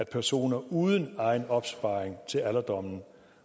personer uden egen opsparing til alderdommen